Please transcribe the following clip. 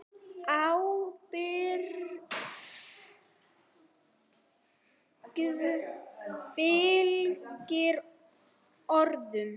Ábyrgð fylgir orðum.